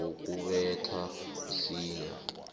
wokubetha msinya